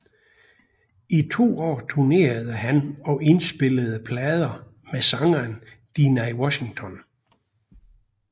I to år turnerede han og indspillede plader med sangeren Dinah Washington